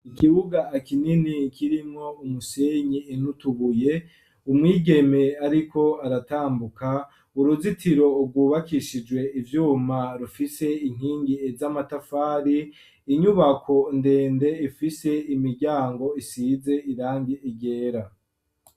Ikibuga kinini kirimwo umusenyi n' ututubuye umwigeme ariko aratambuka uruzitiro rwubakishijwe ivyuma rufise inkingi z'amatafari. Inyubako ndende ifise imiryango isize irangi ryera.